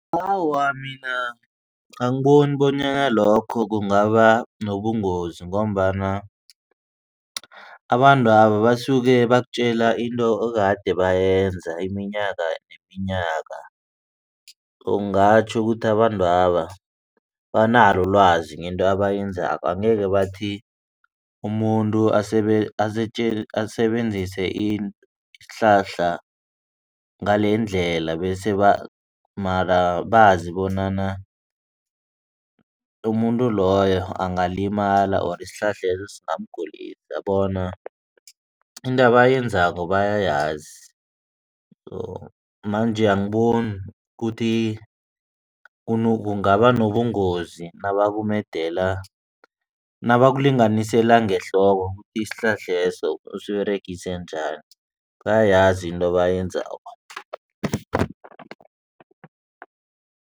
Awa, mina angiboni bonyana lokho kungaba nobungozi ngombana abantwaba basuke bakutjela into ekade bayenza iminyaka neminyaka. Ungatjho ukuthi abantwaba banalo ulwazi ngento abayenzako angeke bathi umuntu asebenzise isihlahla ngalendlela bese mara bazi bonyana umuntu loyo angalimala ori isihlahleso singamgulisa bona into abayenzako bayayazi. Manje angiboni ukuthi kungaba nobungozi nabakumedela nabakulinganisela ngehloko isihlahleso usiberegise njani bayayazi into abayenzako.